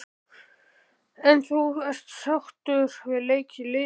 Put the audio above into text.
En þú ert sáttur við leik liðsins?